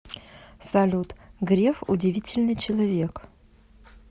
салют греф удивительный человек